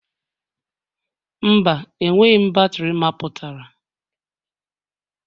Mba, enweghị m batrị mapụtara.